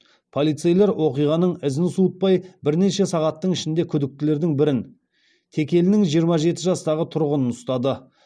полицейлер оқиғаның ізін суытпай бірнеше сағаттың ішінде күдіктілердің бірін текелінің жиырма жеті жастағы тұрғынын ұстады